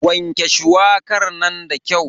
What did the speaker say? Wanke shuwakar nan da kyau.